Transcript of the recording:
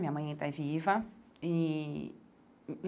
Minha mãe ainda é viva e.